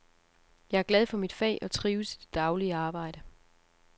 Jeg er glad for mit fag og trives i det daglige arbejde.